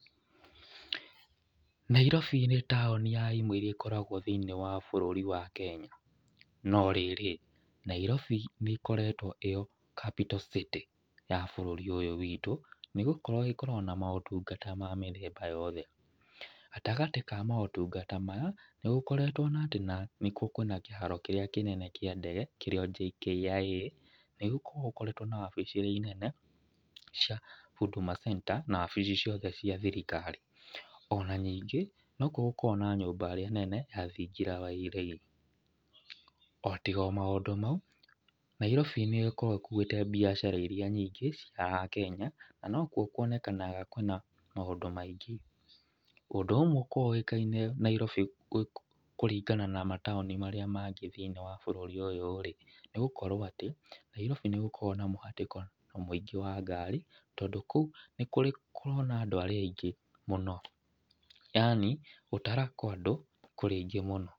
Nairobi nĩ taũni ya imwe irĩa ikoragwo thĩiniĩ wa bũrũri wa Kenya. No rĩrĩ, Nairobi nĩ ĩkoretwo ĩyo capital city ya bũrũri ũyũ witũ nĩ gũkorwo ĩkoragwo na maũtungata ma mĩthemba yothe. Gatagatĩ ka maũtungata maya, nĩ gũkoretwo na atĩ nĩkuo kwĩna kĩharo kĩrĩa kĩnene kĩa ndege kĩrĩa JKIA. Nĩ gũkoragwo gũkoretwo na wabici irĩa nene cia Huduma Center, na wabici ciothe cia thirikari. Ona nyingĩ nokuo gũkoragwo na nyũmba ĩrĩa nene ya thingira ya iregi. O tiga maũndũ mau, Nairobi nĩ ĩkoragwo ĩkuĩte biacara irĩa nyingĩ cia Kenya, na nokuo kuonekanaga kwĩna maũndũ maingĩ. Ũndũ ũmwe ũkoragwo ũĩkaine Nairobi kũringana na mataũni marĩa mangĩ thĩiniĩ wa bũrũri ũyũ rĩ, nĩ gũkorwo atĩ Nairobi nĩ gũkoragwo na mũhatĩkano mũingĩ wa ngari, tondũ kũu nĩ kũrĩ kũrona andũ arĩa aingĩ mũno, yaani gũtara kwa andũ kũrĩ aingĩ mũno.